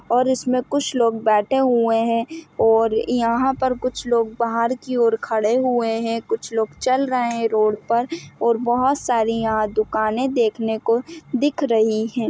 और इसमें कुछ लोग बैठे हुए हैं और यहाँ पर कुछ लोग बाहर की और खड़े हुए है कुछ लोग चल रहे है रोड पर और बहुत सारी यहॉं दुकानें देखने को दिख रही है।